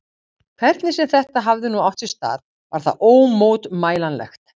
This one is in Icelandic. Hvernig sem þetta hafði nú átt sér stað, var það ómótmælanlegt.